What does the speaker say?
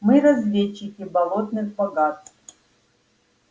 мы разведчики болотных богатств